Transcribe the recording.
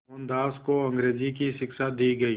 मोहनदास को अंग्रेज़ी की शिक्षा दी गई